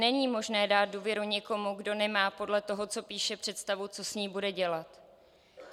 Není možné dát důvěru někomu, kdo nemá podle toho, co píše, představu, co s ní bude dělat.